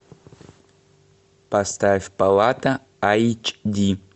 поставь палата айч ди